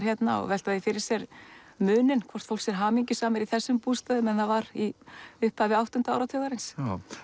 hérna og velta því fyrir sér muninum hvort fólk sé hamingjusamara í þessum bústöðum en það var í upphafi áttunda áratugarins